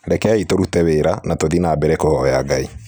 'Rekei tũrute wĩra, na tũthiĩ na mbere kũvoya ngai.